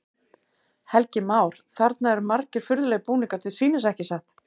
Helgi Már: Þarna eru margir furðulegir búningar til sýnis, ekki satt?